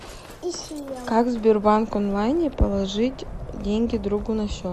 как в сбербанк онлайне положить деньги другу на счет